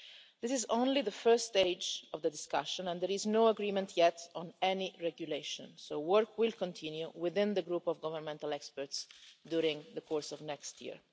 This is only the first stage of the discussion and there is no agreement yet on any regulation, so work will continue within the Group of Governmental Experts during the course of next year.